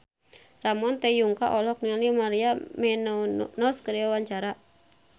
Ramon T. Yungka olohok ningali Maria Menounos keur diwawancara